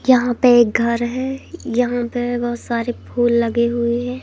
यहां पे एक घर है यहां पे बहुत सारे फूल लगे हुए हैं।